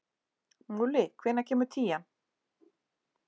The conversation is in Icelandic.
Múli, hvenær kemur tían?